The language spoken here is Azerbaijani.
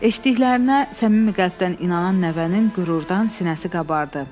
Eşitdiklərinə səmimi qəlbdən inanan nəvənin qürurdan sinəsi qabardı.